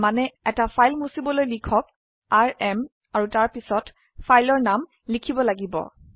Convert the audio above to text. তাৰ মানে এটা ফাইল মুছিবলৈ লিখকrm আৰু তাৰপিছত ফাইলৰ নাম লিখিব লাগিব